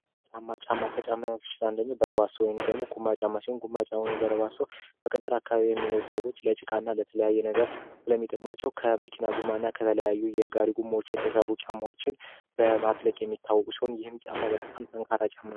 ቁማ ጫማ አይነቶች ውስጥ አንደኛው ሲሆን ቁማ ጫማ በ ገጠር አካባቢ የሚኖሩ ሰዎች ለጭቃ ስለሚጠቅማቸው የተለያዩ ጎማዎችን በማቅለጥ ና በማቅረብ የሚሠራ ሲሆን ይህም ጫማ በጣም ጠንካራ ጫማ ነው።